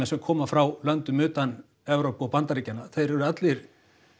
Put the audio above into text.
sem koma frá löndum utan Evrópu og Bandaríkjanna þeir eru allir